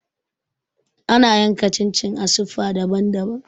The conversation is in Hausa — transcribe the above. Ana yanka chin chin a siffa daban-daban.